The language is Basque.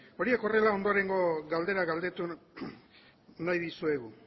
horiek horrela ondorengo galdera galdetu nahi dizuegu